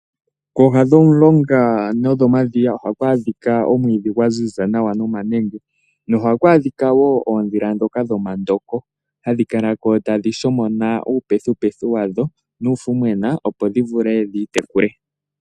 Kooha dhomulonga nodhomadhiya ohaku adhika omwiidhi gwaziza nomanenge, nohaku adhika wo oondjila ndhoka dhomandoko, hadhi kala ko tadhi shomona uupethupethu wadho, nuufumwena opo dhivule dhiitekule.